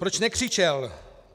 Proč nekřičel?